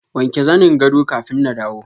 wanke zanin gado kafin na dawo.